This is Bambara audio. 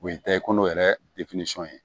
O ye ta ye ko yɛrɛ ye